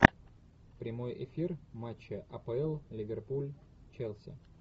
прямой эфир матча апл ливерпуль челси